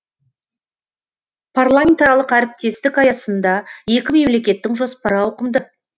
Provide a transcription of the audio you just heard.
парламентаралық әріптестік аясында екі мемлекеттің жоспары ауқымды